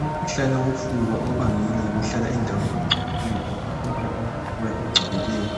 Umkhuhlane wofuba obangelwa yikuhlala endaweni engcolileyo lokuphefumula umoya ongcolileyo